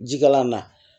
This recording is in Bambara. Jikalan na